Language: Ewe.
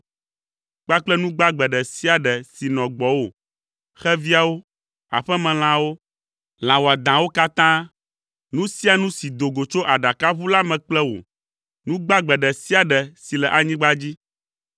kpakple nu gbagbe ɖe sia ɖe si nɔ gbɔwò, xeviawo, aƒemelãawo, lã wɔadãawo katã, nu sia nu si do go tso aɖakaʋu la me kple wò, nu gbagbe ɖe sia ɖe si le anyigba dzi.